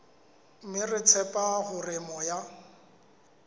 mme re tshepa hore moya